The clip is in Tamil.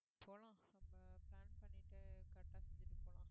போலாம் நம்ப plan பண்ணிட்டு correct ஆ செஞ்சுட்டு போலாம்